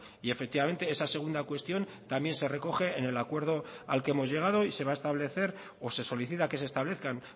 y efectivamente esa segunda cuestión también se recoge en el acuerdo al que hemos llegado y se va a establecer o se solicita que se establezcan